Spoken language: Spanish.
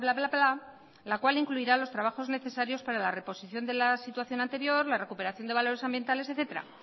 a cual incluirá los trabajos necesarios para la reposición de la situación anterior la recuperación de valores ambientales etcétera